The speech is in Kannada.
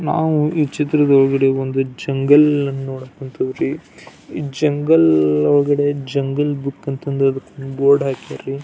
ನಾವು ಈ ಚಿತ್ರದೊಳಗಡೆ ಒಂದು ಜಂಗಲ್ ಅನ್ನ ನೋಡಕ್ ಹೊಂತೀವ್ರಿ ಈ ಜಂಗಲ್ ಒಳಗಡೆ ಜಂಗಲ್ ಬುಕ್ ಅಂತ ಬೋರ್ಡ್ ಹಾಕ್ಯಾರ್ ರೀ .